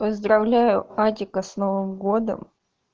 поздравляю тебя с новым годом